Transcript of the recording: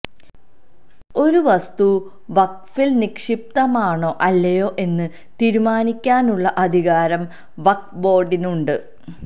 ഒരു വസ്തു വഖ്ഫില് നിക്ഷിപ്തമാണോ അല്ലയോ എന്ന് തീരുമാനിക്കാനുള്ള അധികാരം വഖ്ഫ് ബോര്ഡിനുണ്ട്